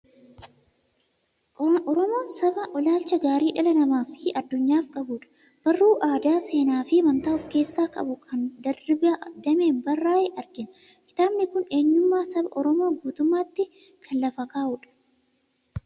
Oromoon saba ilaalcha gaarii dhala namaa fi addunyaaf qabudha. Barruu aadaa, seenaa fi Amantaa of keessaa qabu kan Dirribii Dammeen barraa'e argina. Kitaabni kun eenyummaa saba Oromoo guutummaatti kan lafa kaa'udha.